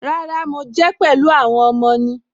Rárá, mo jẹ́ pẹ̀lú àwọn ọmọ ni.